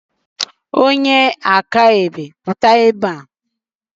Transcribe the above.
Onye akaebe pụta ebe a!